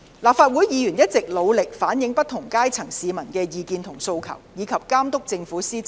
立法會議員一直努力反映不同階層市民的意見和訴求，以及監督政府的施政。